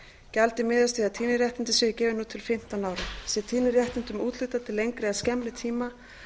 gjaldið miðast við að tíðniréttindin séu gefin út til fimmtán ára sé tíðniréttindum úthlutað til lengri eða skemmri tíma